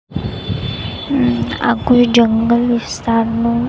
આ કોઈ જંગલ વિસ્તારનું--